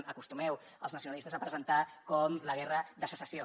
acostumeu els nacionalistes a presentar com la guerra de secessió